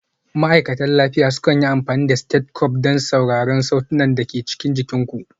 Ma'aikatan lafiya sukan yi amfani da stethoscope don sauraron sautunan da ke cikin jikin ku.